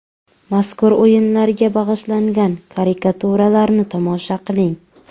Mazkur o‘yinlarga bag‘ishlangan karikaturalarni tomosha qiling.